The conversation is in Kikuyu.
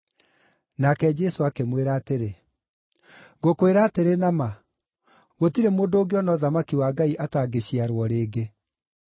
Nake Jesũ akĩmwĩra atĩrĩ, “Ngũkwĩra atĩrĩ na ma, gũtirĩ mũndũ ũngĩona ũthamaki wa Ngai atangĩciarwo rĩngĩ.”